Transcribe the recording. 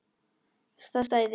Það stæði.